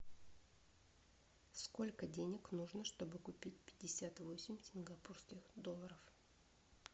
сколько денег нужно чтобы купить пятьдесят восемь сингапурских долларов